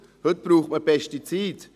Heute braucht man Pestizide.